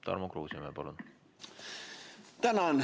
Tarmo Kruusimäe, palun!